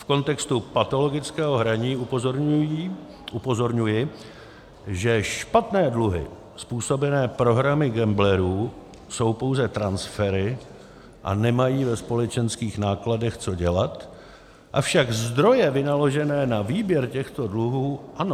V kontextu patologického hraní upozorňuji, že špatné dluhy způsobené prohrami gamblerů jsou pouze transfery a nemají ve společenských nákladech co dělat, avšak zdroje vynaložené na výběr těchto dluhů ano.